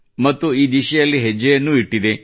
ಮತ್ತು ಈ ದಿಸೆಯಲ್ಲಿ ಹೆಜ್ಜೆಯನ್ನೂ ಇಟ್ಟಿದೆ